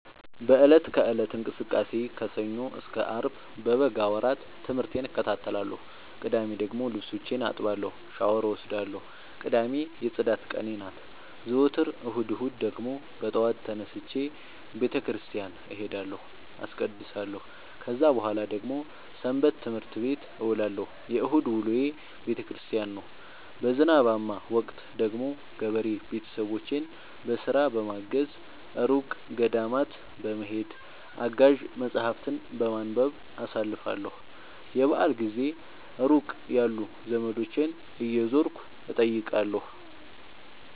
በእለት ከእለት እንቅስቃሴዬ ከሰኞ እስከ አርብ በበጋ ወራት ትምህርቴን እከታተላለሁ። ቅዳሜ ደግሞ ልብሶቼን አጥባለሁ ሻውር እወስዳለሁ ቅዳሜ የፅዳት ቀኔ ናት። ዘወትር እሁድ እሁድ ደግሞ በጠዋት ተነስቼ በተክርስቲያን እሄዳለሁ አስቀድሳሁ። ከዛ በኃላ ደግሞ ሰበትምህርት ቤት እውላለሁ የእሁድ ውሎዬ ቤተክርስቲያን ነው። በዝናባማ ወቅት ደግሞ ገበሬ ቤተሰቦቼን በስራ በማገ፤ እሩቅ ገዳማት በመሄድ፤ አጋዥ መፀሀፍትን በማንበብ አሳልፍለሁ። የበአል ጊዜ ሩቅ ያሉ ዘመዶቼን እየዞርኩ እጠይቃለሁ።